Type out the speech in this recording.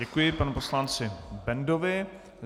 Děkuji panu poslanci Bendovi.